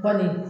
Kɔni